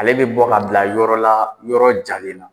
Ale bɛ bɔ ka bila yɔrɔ la yɔrɔ jalen na.